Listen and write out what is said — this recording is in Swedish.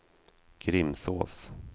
Grimsås